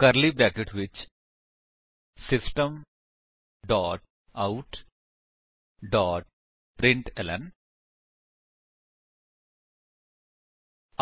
ਕਰਲੀ brackets ਵਿੱਚ system dot out dot println